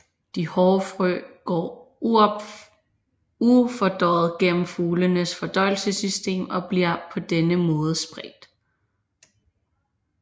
De hårde frø går ufordøjet gennem fuglenes fordøjelsessystem og bliver på denne måden spredt